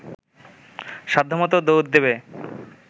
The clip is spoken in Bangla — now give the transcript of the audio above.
সাধ্যমত দৌড় দেবে